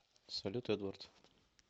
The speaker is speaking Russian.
салют эдвард